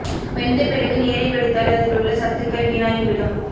வெந்தபிறகு நீரை வடித்தால் அதில் உள்ள சத்துக்கள் வீணாகி விடும்